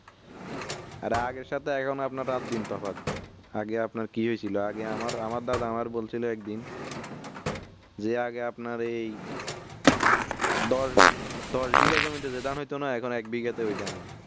অরে আগের সাথে এখন আপনার রাট দিন তফাত আগে আপনার কি হয়েছিল আগে আমার দাদা আমার দাদা বলছিলো একদিন যে আগে আপনার এই দশ দশ বিঘা জমিতে যে ধান হয়তো না এখন এক বিঘা তে ওই ধান হয়